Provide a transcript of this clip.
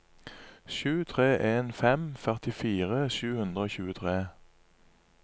sju tre en fem førtifire sju hundre og tjuetre